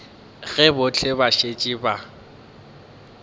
ge bohle ba šetše ba